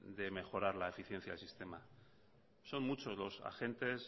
de mejorar la eficiencia del sistema son muchos los agentes